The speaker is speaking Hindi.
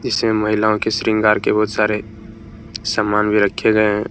इसमें महिलाओं के श्रृंगार के बहुत सारे समान भी रखे गए हैं ।